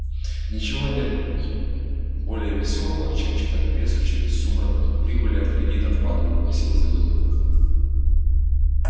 ничего нет более весёлого чем читать прессу через сумрак прибыли от кредитов падают гласил заголовок